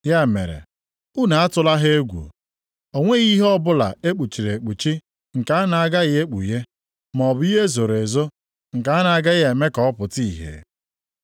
“Ya mere unu atụla ha egwu. O nweghị ihe ọbụla e kpuchiri ekpuchi nke a na-agaghị ekpughe, maọbụ ihe e zoro ezo nke a na-agaghị eme ka ọ pụta ìhè.